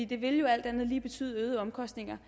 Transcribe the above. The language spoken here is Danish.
det vil jo alt andet lige betyde øgede omkostninger